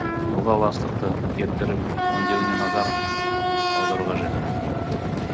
ылғал астықты кептіріп өңдеуіне назар аудару қажет